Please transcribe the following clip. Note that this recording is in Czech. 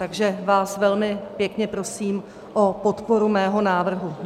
Takže vás velmi pěkně prosím o podporu mého návrhu.